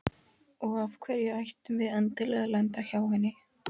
Og af hverju ættum við endilega að lenda hjá henni?